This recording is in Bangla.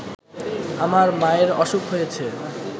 আমার মায়ের অসুখ হয়েছে